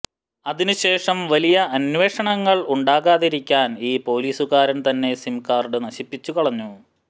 അതിന് ശേഷം വലിയ അന്വേഷണങ്ങൾ ഉണ്ടാകാതിരിക്കാൻ ഈ പൊലീസുകാരൻ തന്നെ സിം കാർഡ് നശിപ്പിച്ചുകളഞ്ഞു